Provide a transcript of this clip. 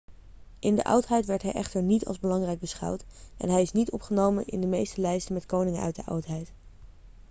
in de oudheid werd hij echter niet als belangrijk beschouwd en hij is niet opgenomen in de meeste lijsten met koningen uit de oudheid